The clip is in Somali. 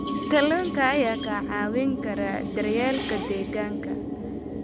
Kalluunka ayaa kaa caawin kara daryeelka deegaanka.